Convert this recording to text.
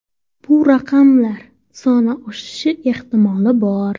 Bu raqamlar soni oshishi ehtimoli bor.